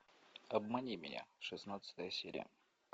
обмани меня шестнадцатая серия